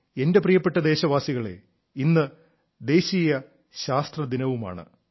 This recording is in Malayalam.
എന്റെ പ്രിയപ്പെട്ട ദേശവാസികളേ ഇന്ന് ദേശീയ ശാസ്ത്ര ദിനമാണ്